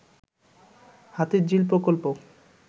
হাতির ঝিল প্রকল্প